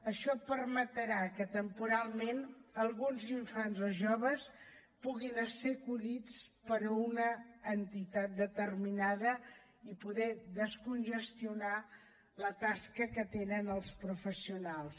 això permetrà que temporalment alguns infants o joves puguin ésser acollits per una entitat determinada i poder descongestionar la tasca que tenen els professionals